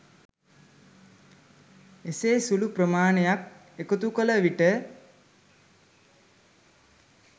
එසේ සුළු ප්‍රමාණයක් එකතුකල විට